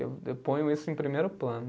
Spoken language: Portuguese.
Eu eu ponho isso em primeiro plano.